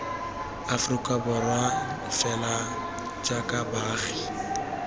aforika borwa fela jaaka baagi